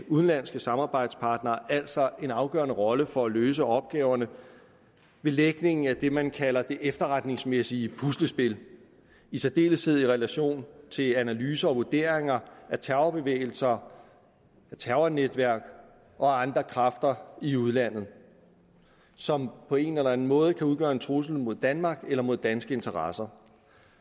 udenlandske samarbejdspartnere altså en afgørende rolle for at løse opgaverne ved lægningen af det man kalder det efterretningsmæssige puslespil i særdeleshed i relation til analyser og vurderinger af terrorbevægelser terrornetværk og andre kræfter i udlandet som på en eller anden måde kan udgøre en trussel mod danmark eller mod danske interesser